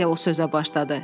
deyə o sözə başladı.